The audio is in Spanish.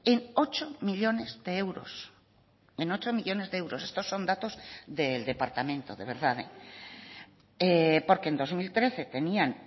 en ocho millónes de euros en ocho millónes de euros estos son datos del departamento de verdad porque en dos mil trece tenían